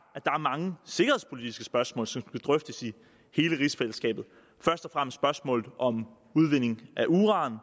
er mange sikkerhedspolitiske spørgsmål som skal drøftes i hele rigsfællesskabet først og fremmest spørgsmålet om udvinding af uran